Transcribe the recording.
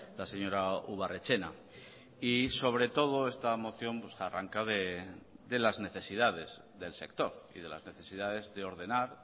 la señora ubarretxena y sobre todo esta moción arranca de las necesidades del sector y de las necesidades de ordenar